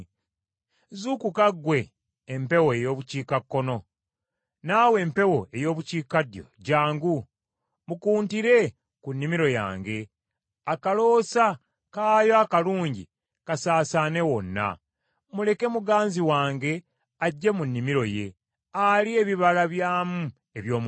Zuukuka gwe empewo ey’obukiikakkono, naawe empewo ey’obukiikaddyo jjangu. Mukuntire ku nnimiro yange, akaloosa, kaayo akalungi kasaasaane wonna, Muleke muganzi wange ajje mu nnimiro ye, alye ebibala byamu eby’omuwendo.